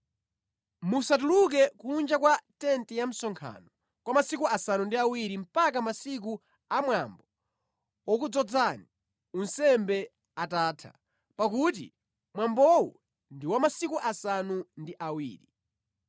Musatuluke kunja kwa tenti ya msonkhano kwa masiku asanu ndi awiri mpaka masiku amwambo wokudzozani unsembe atatha, pakuti mwambowu ndi wa masiku asanu ndi awiri.